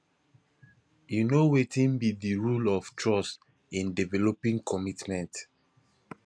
you know wetin be di role of trust in developing commitment